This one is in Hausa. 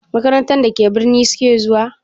Makarantar da ke birni su ke zuwa?